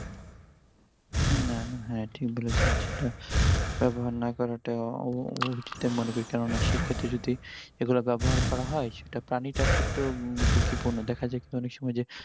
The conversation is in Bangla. হ্যাঁ ঠিক বলেছেন সেটা ব্যবহার না করাটাও উহ উ~উ~উচিত আমি মনে করি কেননা সে ক্ষেত্রে যদি এগুলা ব্যবহার করা হয় সেটা প্রাণীটার ক্ষেত্রেও ঝুঁকিপূর্ণ দেখা যাবে অনেক সময় যে